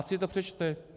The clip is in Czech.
Ať si to přečte.